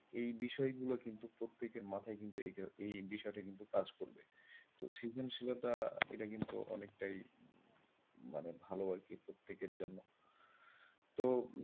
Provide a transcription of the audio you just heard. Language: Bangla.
এই বিষয় গুলো কিন্তু প্রত্যেকের মাথাই এটা এই বিষয়টা কিন্তু কাজ করবে তো সৃজনশীলতা এটা কিন্তু অনেকটাই মানে ভালো আরকি প্রত্যেকের জন্য। তো,